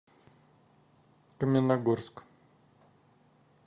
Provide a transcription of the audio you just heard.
каменногорск